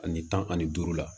Ani tan ani duuru la